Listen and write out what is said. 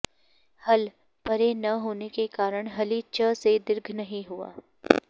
हल् परे न होने के कारण हलि च से दीर्घ नहीं हुआ